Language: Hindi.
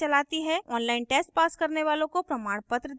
online test pass करने वालों को प्रमाणपत्र देते हैं